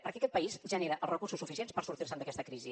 perquè aquest país genera els recursos suficients per sortir se’n d’aquesta crisi